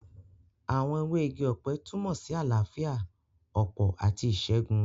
Àwọn ewé igi ọ̀pẹ túnmọ̀ sí àlàáfíà, ọ̀pọ̀ àti ìṣẹ́gun